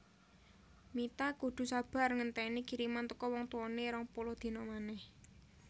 Mita kudu sabar ngenteni kiriman teko wong tuwone rong puluh dina maneh